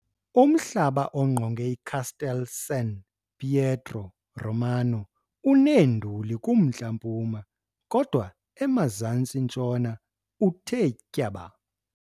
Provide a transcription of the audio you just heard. Umhlaba ongqonge iCastel San Pietro Romano uneenduli kumntla-mpuma, kodwa emazantsi-ntshona uthe tyaba.